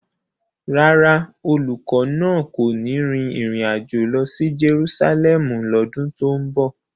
Rárá, olùkọ́ náà kò ní rin ìrìn àjò lọ sí Jerusalẹmu lọ́dún tó ń bọ̀.